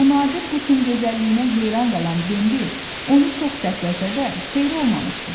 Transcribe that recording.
Bu nadir quşun gözəlliyinə heyran qalan Bembi onu çox səsləsə də, xeyri olmamışdı.